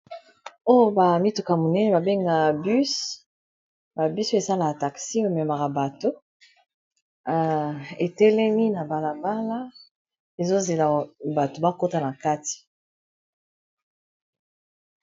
Oyo ba mituka monene ba benga bus ba bus oyo esalaka taxi ememaka bato etelemi na balabala ezozela bato bakota na kati.